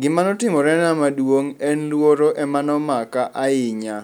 Gima notimorena maduong' en luoro emane omaka ahinya.